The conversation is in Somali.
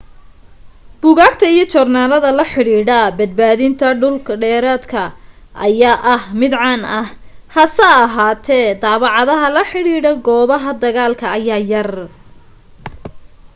buugaagta iyo joornaalada la xidhiidha badbaadinta dhul dhireedka ayaa ah mid caan ah hase ahaatee daabacaadaha la xidhiidha goobaha dagaalka ayaa yar